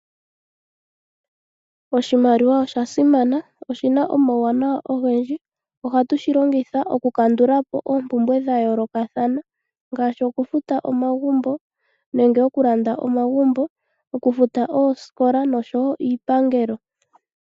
Oshimaliwa osha simana, oshi na omauwanawa ogendji. Ohatu shi longitha okukandula po oompumbwe dha yoolokothana ngaashi okufuta omagumbo nenge okulanda, okufuta oosikola oshowo iipangelo.